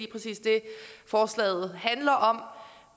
præcis det forslaget handler om